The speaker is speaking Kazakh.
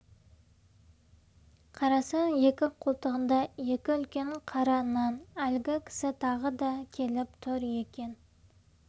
қарасақ екі қолтығында екі үлкен қара нан әлгі кісі тағы да келіп тұр екен